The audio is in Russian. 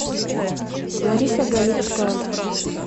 лариса галицкая